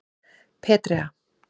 Petrea